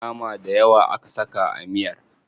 Nama dayawa aka saka a miyar.